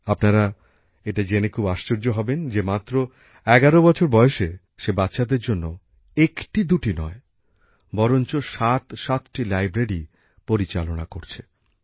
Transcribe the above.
আপনারা এটা জেনে খুব আশ্চর্য হবেন যে মাত্র ১১ বছর বয়সে সে বাচ্চাদের জন্য একটি দুটি নয় বরঞ্চ সাত সাতটি লাইব্রেরী পরিচালনা করছে